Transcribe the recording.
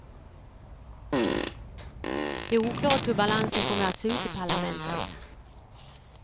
Det är oklart hur balansen kommer att se ut i parlamentet.